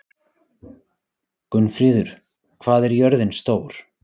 Gunnfríður, hvað er jörðin stór?